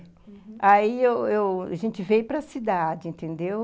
Uhum, aí eu eu... a gente veio para a cidade, entendeu?